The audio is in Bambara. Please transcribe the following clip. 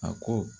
A ko